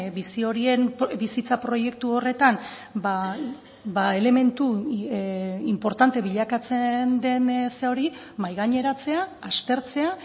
bizi horien bizitza proiektu horretan elementu inportante bilakatzen den hori mahai gaineratzea aztertzea